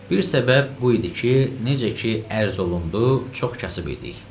Bir səbəb bu idi ki, necə ki, ərz olundu, çox kasıb idik.